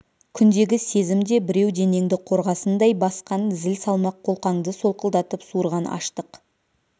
күндегі сезім де біреу денеңді қорғасындай басқан зіл салмақ қолқаңды солқылдатып суырған аштық